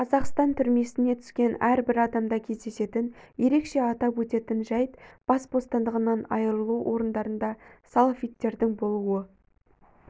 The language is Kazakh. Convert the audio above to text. қазақстан түрмесіне түскен әрбір адамда кездесетін ерекше атап өтетін жәйт бас бостандығынан айырылу орындарында салафиттердің болуы